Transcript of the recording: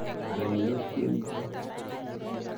Anan iyokten chi.